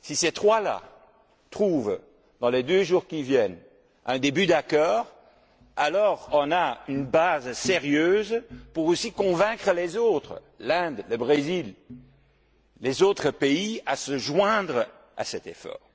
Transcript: Si ces trois là trouvent, dans les deux jours qui viennent, un début d'accord, alors nous disposerons d'une base sérieuse pour convaincre les autres l'Inde, le Brésil, les autres pays à se joindre à cet effort.